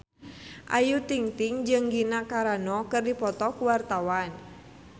Ayu Ting-ting jeung Gina Carano keur dipoto ku wartawan